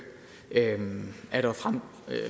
er der